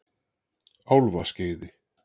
Álfaskeiði